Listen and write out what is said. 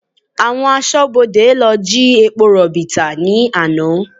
Àwọn aṣọ́bodè lọ jí epo rọ̀bì tà ní àná